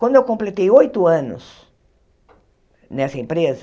Quando eu completei oito anos nessa empresa,